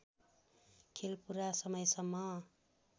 खेल पूरा समयसम्म